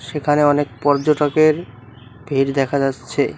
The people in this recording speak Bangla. এখানে অনেক পর্যটকের ভিড় দেখা যাচ্ছে।